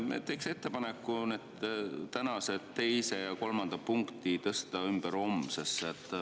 Jaa, teeks ettepaneku tänased teine ja kolmas punkt tõsta homsesse.